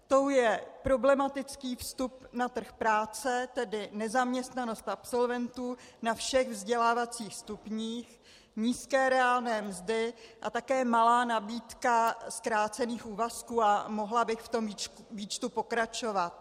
Tou je problematický vstup na trh práce, tedy nezaměstnanost absolventů na všech vzdělávacích stupních, nízké reálné mzdy a také malá nabídka zkrácených úvazků, a mohla bych v tom výčtu pokračovat.